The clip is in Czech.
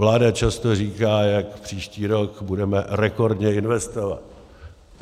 Vláda často říká, jak příští rok budeme rekordně investovat.